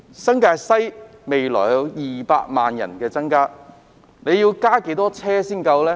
新界西的人口未來會增加到200萬人，要增設多少路線才足夠呢？